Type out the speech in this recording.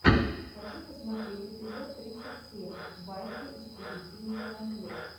хочу посмотреть эпизод тридцать семь баффи истребительница вампиров